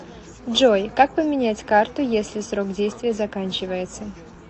джой как поменять карту если срок действия заканчивается